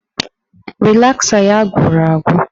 Rịlasa ya gwụrụ agwụ